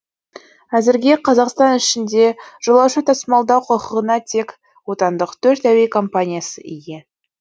әзірге қазақстан ішінде жолаушы тасымалдау құқығына тек отандық төрт әуе компаниясы ие